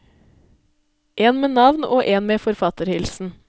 En med navn og en med forfatterhilsen.